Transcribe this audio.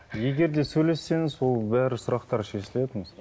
егер де сөйлессеңіз ол бәрі сұрақтар шешіледі өзі